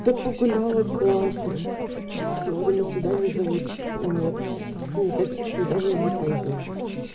да погуляла классно сегодня на свидание зовут нет никаких свиданий не пойду